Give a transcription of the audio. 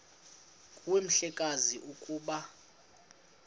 nguwe mhlekazi ukuba